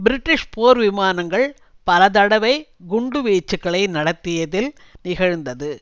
British போர்விமானங்கள் பலதடவை குண்டு வீச்சுக்களை நடத்தியதில் நிகழ்ந்தது